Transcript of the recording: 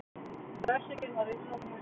Refsingin var innilokun yfir helgina.